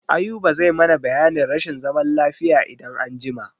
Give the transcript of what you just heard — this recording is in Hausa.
Ayuba zai mana biyanin rashin zaman lafiya idan an jima.